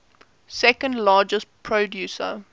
second largest producer